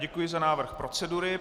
Děkuji za návrh procedury.